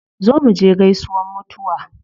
Zo muje gaisuwan mutuwa